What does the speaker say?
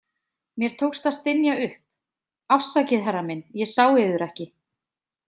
Mér tókst að stynja upp: „Afsakið, herra minn, ég sá yður ekki“